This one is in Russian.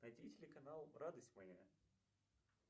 найди телеканал радость моя